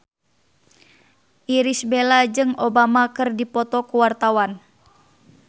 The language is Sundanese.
Irish Bella jeung Obama keur dipoto ku wartawan